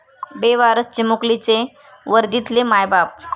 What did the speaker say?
बेवारस चिमुकलीचे वर्दीतले 'मायबाप'!